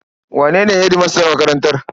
Wane ne hedimastan makarantar?